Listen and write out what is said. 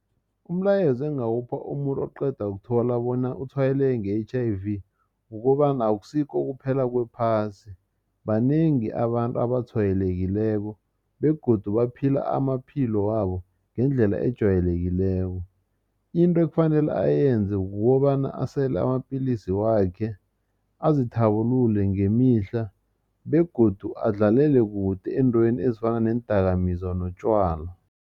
Umlayezo engingawupha umuntu oqeda ukuthola bona utshwayeleke nge-H_I_V kukobana akusikho ukuphela kwephasi banengi abantu abatshwayelekileko begodu baphila amaphilo wabo ngendlela ejwayelekileko. Into ekufanele ayenze kukobana asele amapilisi wakhe azithabulule ngemihla begodu adlalele kude eentweni ezifana neendakamizwa notjwala.